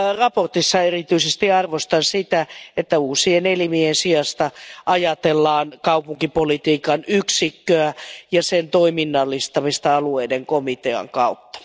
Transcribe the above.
Mietinnössä erityisesti arvostan sitä, että uusien elimien sijasta ajatellaan kaupunkipolitiikan yksikköä ja sen toiminnallistamista alueiden komitean kautta.